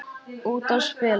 Út að spila.